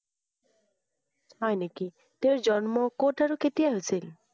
হয় নেকি? তেওঁৰ জন্ম কত আৰু কেতিয়া হৈছিল?